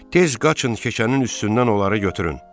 Tez qaçın keçənin üstündən onları götürün.